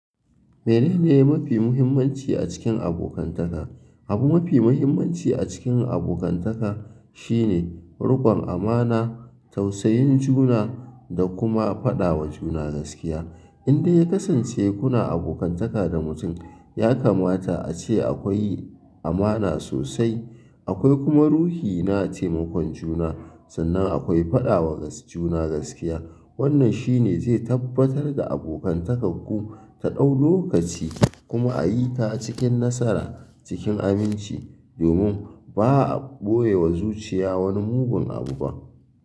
Menene mafi muhimmanci a cikin abokantaka? Abu mafi muhimmanci a cikin abokantaka shine riƙon amana, tausayin juna da kuma faɗawa juna gaskiya. Indai ya kasance kuna abokantaka da mutum, ya kamata ace akwai amana sosai, akwai kuma ruhi na taimakon juna, sannan akwai faɗawa juna gaskiya. Wannan shine zai tabbatar da abokantakarku ta ɗau lokaci kuma a yi ta cikin nasara cikin aminci. Domin ba a ɓoye wa zuciya wani mugun abu ba.